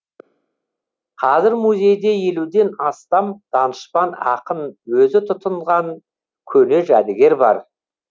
қазір музейде елуден астам данышпан ақын өзі тұтынған көне жәдігер бар